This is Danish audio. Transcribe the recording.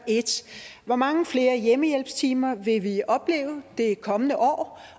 hvor mange flere hjemmehjælpstimer vil vi opleve det kommende år